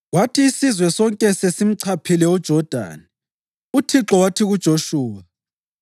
Kwathi isizwe sonke sesimchaphile uJodani, uThixo wathi kuJoshuwa,